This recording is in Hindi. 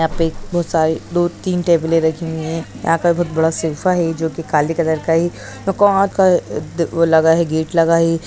यहाँ पे बहुत सारे दो तीन टेबले रखी हुई हैं। यहाँ पे बहुत बड़ा सोफा है जो की काले कलर का है। वो लगा है गेट लगा है